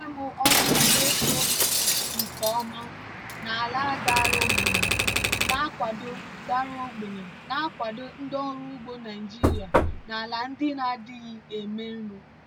gmo ọka na-eto nke ọma na ala dara ogbenye na-akwado dara ogbenye na-akwado ndị ọrụ ugbo naijiria na ala ndị na-adịghị eme nri.